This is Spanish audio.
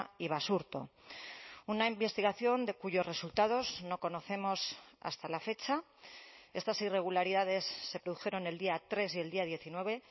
y basurto una investigación de cuyos resultados no conocemos hasta la fecha estas irregularidades se produjeron el día tres y el día diecinueve